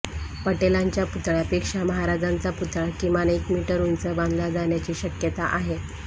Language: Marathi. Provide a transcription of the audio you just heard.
पटेलांच्या पुतळ्यापेक्षा महाराजांचा पुतळा किमान एक मीटर उंच बांधला जाण्याची शक्यता आहे